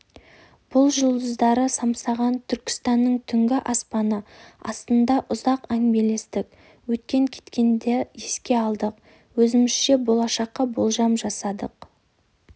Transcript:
біз жұлдыздары самсаған түркістанның түнгі аспаны астында ұзақ әңгімелестік өткен-кеткенді еске алдық өзімізше болашаққа болжам жасадық